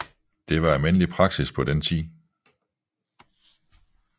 Det var almindelig praksis på den tid